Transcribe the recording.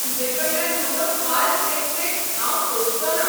तूजेकडल्यान म्हजो फाल्स रेस्पेत हांव सोंसचोना.